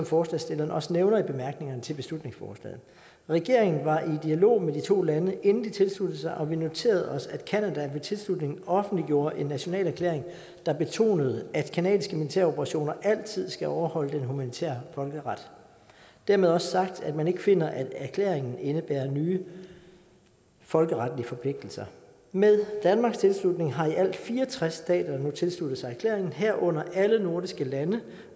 forslagsstillerne også nævner i bemærkningerne til beslutningsforslaget regeringen var i dialog med de to lande inden de tilsluttede sig og vi noterede os at canada ved tilslutningen offentliggjorde en national erklæring der betonede at canadiske militæroperationer altid skal overholde den humanitære folkeret dermed også sagt at man ikke finder at erklæringen indebærer nye folkeretlige forpligtelser med danmarks tilslutning har i alt fire og tres stater nu tilsluttet sig erklæringen herunder alle nordiske lande